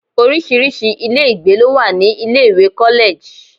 Orísirísi ilé ìgbé ló wà ní ilé ìwé college.